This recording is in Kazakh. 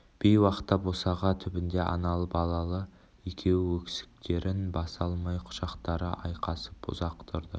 бейуақытта босаға түбінде аналы-балалы екеуі өксіктерін баса алмай құшақтары айқасып ұзақ тұрды